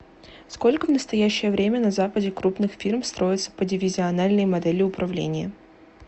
сколько в настоящее время на западе крупных фирм строятся по дивизиональной модели управления